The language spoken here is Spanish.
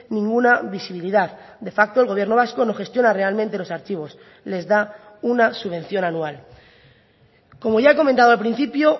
ninguna visibilidad de facto el gobierno vasco no gestiona realmente los archivos les da una subvención anual como ya he comentado al principio